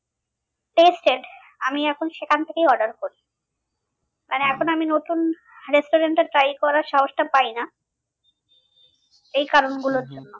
Tested আমি এখন সেখান থেকেই order করি এখন আমি নতুন restaurant এ try করার সাহসটা পাই না এই কারণ